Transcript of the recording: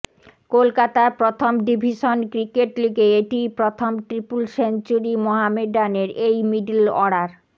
কলকাতার প্রথম division cricket লিগে এটিই প্রথম ট্রিপল সেঞ্চুরি মহমেডানের এই মিডল অর্ডার